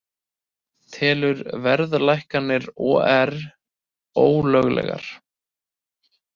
Telur verðhækkanir OR ólöglegar